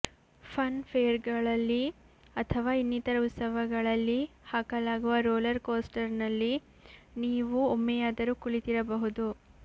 fun ಫೇರ್ಗಳಲ್ಲಿ ಅಥವಾ ಇನ್ನಿತರ ಉತ್ಸವಗಳಲ್ಲಿ ಹಾಕಲಾಗುವ ರೋಲರ್ ಕೋಸ್ಟರ್ನಲ್ಲಿ ನೀವು ಒಮ್ಮೆಯಾದರೂ ಕುಳಿತಿರಬಹುದು